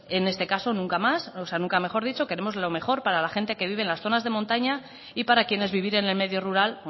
en este caso nunca mejor dicho queremos lo mejor para la gente que vive en las zonas de montaña y para quienes vivir en el medio rural